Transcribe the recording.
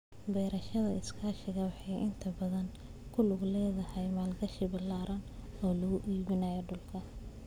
Beerashada iskaashatada waxay inta badan ku lug leedahay maalgashi ballaaran oo lagu iibsanayo dhulka.